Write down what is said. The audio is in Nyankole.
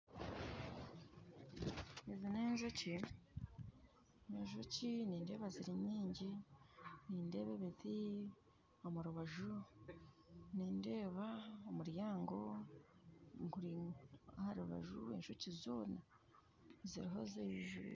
Ezi n'enjoki, n'enjoki nindeeba ziri nyingi nindeeba ebiti omurubaju nindeeba omuryango guri aharubaju enjoki zoona ziriho zijwire